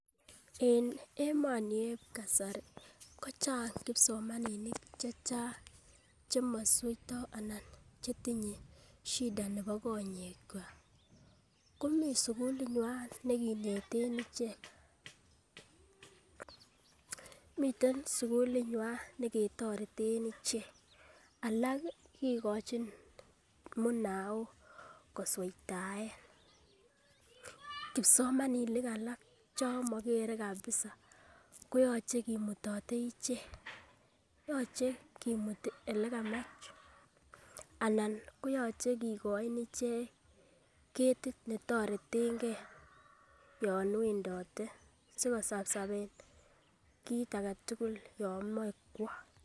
En emoni en kasari kochang kipsomaninik chechang chemisweito anan chetinye shida nebo konyek kwak komii sukulinywan nekineten ichek . Miten sukulinywan ketoreten ichek alal kikochin munaok kosweitaen, kipsomaninik alak chon mokere kabisa koyoche kimutote ichek yoche kumuti ele kamach anan koyoche kikoin ichek ketit netoretengee yon wendote sikosapsapen kii agetutuk yon moi kwo.